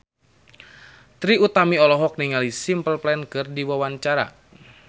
Trie Utami olohok ningali Simple Plan keur diwawancara